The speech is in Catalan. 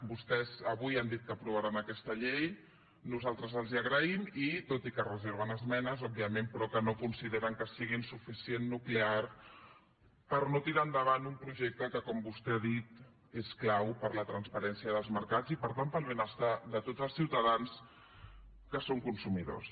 vostès avui han dit que aprovaran aquesta llei nosaltres els ho agraïm i tot i que es reserven esmenes òbviament però no consideren que siguin suficientment nuclears per no tirar endavant un projecte que com vostè ha dit és clau per a la transparència dels mercats i per tant per al benestar de tots els ciutadans que són consumidors